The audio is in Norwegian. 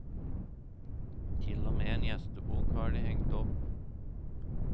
Til og med en gjestebok har de hengt opp.